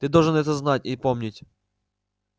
ты должен это знать и помнить